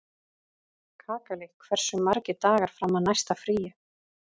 Kakali, hversu margir dagar fram að næsta fríi?